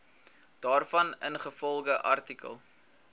daarvan ingevolge artikel